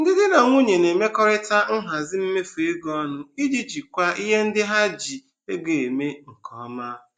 Ndị di na nwunye na-emekọtakarị nhazi mmefu ego ọnụ iji jikwaa ihe ndị ha ji ego eme nke ọma.